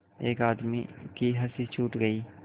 एक आदमी की हँसी छूट गई